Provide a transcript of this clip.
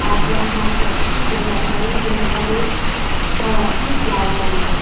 আর পেছনে আসে একটি কেন্টার গাড়ি কেন্টার গাড়ির কালারটি লাল রঙের।